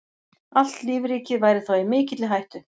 Allt lífríkið væri þá í mikilli hættu.